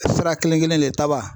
Sira kelen kelen